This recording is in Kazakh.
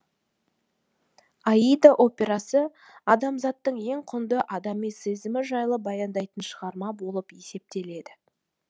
аида операсы адамзаттың ең құнды адами сезімі жайлы баяндайтын шығарма болып есептеледі